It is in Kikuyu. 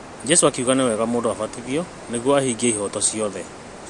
Jesũ akiuga nĩwega abatithio nĩgũo ahingie ihooto ciothe